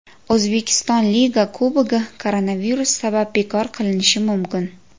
O‘zbekiston Liga Kubogi koronavirus sabab bekor qilinishi mumkin.